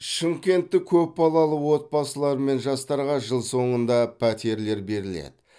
шымкенттік көпбалалы отбасылар мен жастарға жыл соңында пәтерлер беріледі